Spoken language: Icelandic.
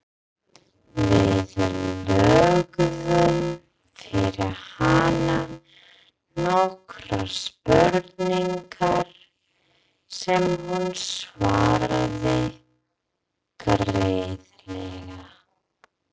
Við lögðum fyrir hana nokkrar spurningar sem hún svaraði greiðlega.